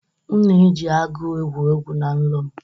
M na-eji agụ egwu egwu na nrọ m.